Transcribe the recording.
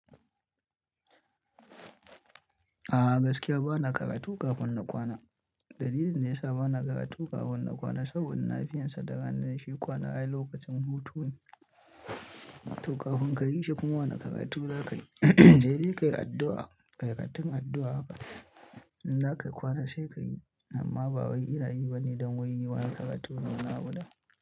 A'a gaskiya ba na karatu kafin na kwana. Dalilin da ya sa ba na karatu kafin na kwana saboda na fi yin sa da rana da shi kwana ai lokacin hutu ne. To kafin ka yi shi kuma wane karatu za ka yi, in ka yi addu'a. Karatun addu'a haka in za ka yi kwana sai ka yi amma ba wai ina yi ba ne don waye yi wane karatun.